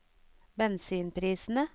bensinprisene